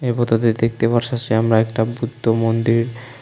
এই ফটোতে দেখতে পারতাসি আমরা একটা বুদ্ধমন্দির।